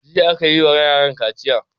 Jiya ne aka yi wa yaran kaciya.